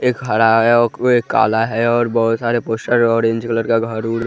एक खड़ा है औ को एक काला है और बहोत सारे पोस्टर ऑरेंज कलर का घर ओर--